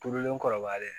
Turulen kɔrɔbalen